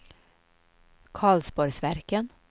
Karlsborgsverken